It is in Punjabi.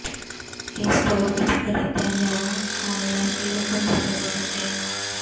ਇਹ ਸਟੋਰ ਵਿੱਚ ਖਰੀਦਿਆ ਜ ਆਨਲਾਈਨ ਦੇ ਹੁਕਮ ਦਿੱਤੇ ਜਾ ਸਕਦੇ ਹਨ